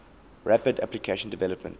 rapid application development